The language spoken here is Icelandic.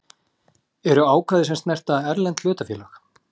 eru ákvæði sem snerta erlend hlutafélög.